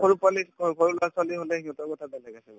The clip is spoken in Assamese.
এই, সৰু পোৱালি সৰু লৰা-ছোৱালী হলে সিহঁতৰ কথা বেলেগ আছে বাৰু